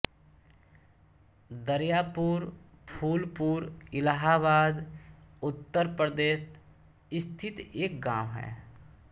दरयापुर फूलपुर इलाहाबाद उत्तर प्रदेश स्थित एक गाँव है